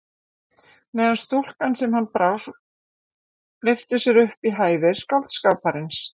Meðan stúlkan sem hann brást lyftir sér upp í hæðir skáldskaparins.